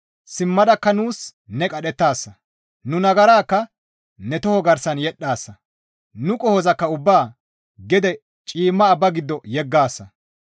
Simmadakka nuus ne qadhettaasa; nu nagarakka ne toho garsan yedhdhaasa; nu qohozakka ubbaa gede cima abba giddo yeggaasa.